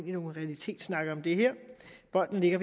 i en realitetssnak om det her bolden ligger